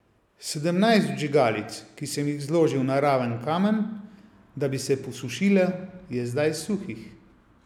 Sedemnajst vžigalic, ki sem jih zložil na raven kamen, da bi se posušile, je zdaj suhih.